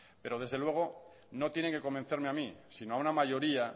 pero desde luego no tienen que convencerme a mí sino a una mayoría